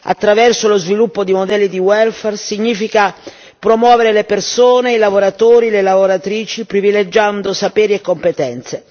attraverso lo sviluppo di modelli di welfare, significa promuovere le persone, i lavoratori, le lavoratrici, privilegiando sapere e competenze.